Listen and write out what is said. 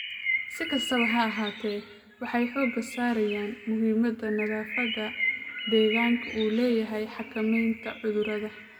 Si kastaba ha ahaatee, waxay xooga saarayaan muhiimada nadaafadda deegaanka u leedahay xakamaynta cudurada.